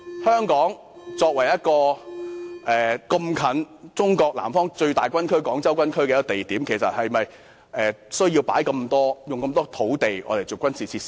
香港鄰近中國南方最大軍區的廣州軍區，是否有需要劃出這麼多土地作為軍事用地呢？